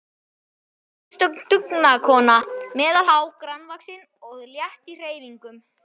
Hún var einstök dugnaðarkona, meðalhá, grannvaxin og létt í hreyfingum.